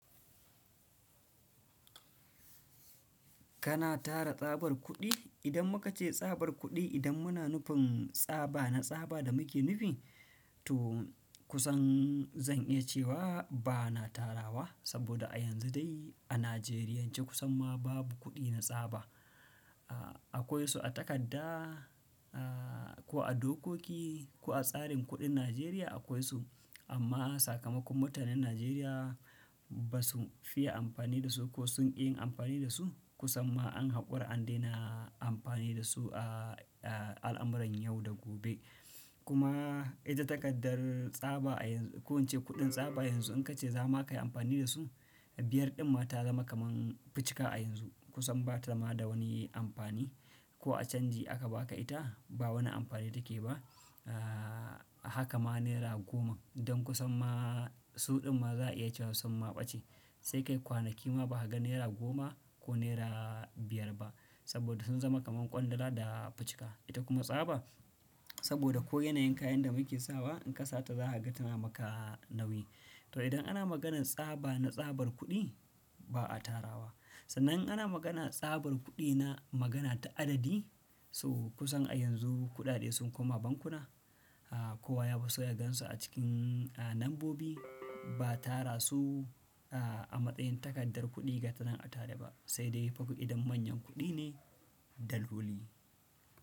Kana tara tsabar kuɗi? Idan muka ce sabar kudi idan muna nufin saba na saba da muke nufin, to kusan zan iya cewa bana taddawa sabo da a yanzu dai a Najeriya kusan ma babu kudin na saba. Akwai su a takadda, ko a dokoki, ko a tsarin kuɗin Najeriya akwai su. Amma sakamakon mutanen Najeriya ba su fiye amfani da su ko sun ƙi yin amfani da su. Kusan ma an haƙura an daina amfani da su a al'amuran yau da gobe. Kuma ita takardar tsaba a yanzu, ko ince kuɗin tsaba yanzu in ka ce za ma ka yi amfani da su, biyar ɗin ma ta zama kaman fuƙika a yanzu. Kusan ba ta zama da wani amfani. Ko a canji aka ba ka ita, ba wani amfani take ba. Haka ma naira goma don kusan ma sau ɗin ma za a iya cewa kusan maɓaci. Sai kai kwanaki ma ba ka ga naira goma ko naira biyar ba saboda sun zama kaman ƙwandala da fuƙika. Ita kuma tsaba saboda ko yanayin kayan da muke sawa in ka sata za ka ga tana maka nauyi. To idan ana maganan saba nah sabar kudi, ba a taddawa. Sannan ana magana tsabar kuɗi na magana ta adadi, so kusan a yanzu kuɗaɗe sun koma bankuna. Kowa ya fiso ya gan su a cikin a lambobi. Ba tara su a matsayin takardar kuɗi ga tana a tare ba. Sai dai fa ku idan manyan kuɗi ne, daloli.